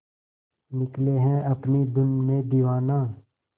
निकले है अपनी धुन में दीवाना